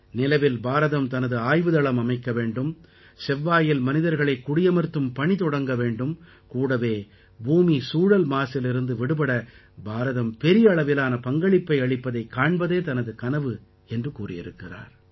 நிலவில் பாரதம் தனது ஆய்வு தளம் அமைக்க வேண்டும் செவ்வாயில் மனிதர்களை குடியமர்த்தும் பணி தொடங்க வேண்டும் கூடவே பூமி சூழல் மாசிலிருந்து விடுபட பாரதம் பெரிய அளவிலான பங்களிப்பை அளிப்பதைக் காண்பதே தனது கனவு என்றும் கூறியிருக்கிறார்